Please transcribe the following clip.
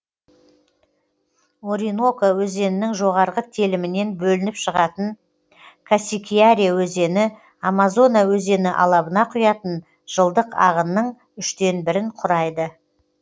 ориноко өзенінің жоғарғы телімінен бөлініп шығатын касикьяре өзені амазона өзені алабына құятын жылдық ағынның үштін бірін құрайды